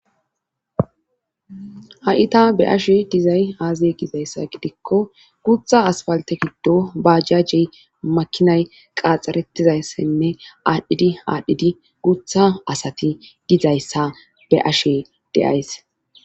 a7ita be ashe dizay aazey gizayssa gidikko gutha asfalte giddo baajjajjey makinay qaaxxarettizayssenne aadhdhidi aadhdhidi guutha asati dizayssa be ashe deays